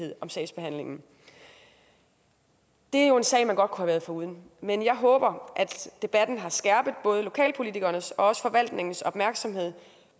sagsbehandlingen det er jo en sag man godt kunne have været foruden men jeg håber at debatten har skærpet både lokalpolitikernes og forvaltningens opmærksomhed